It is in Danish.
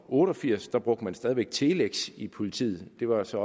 otte og firs brugte man stadig væk telex i politiet det var også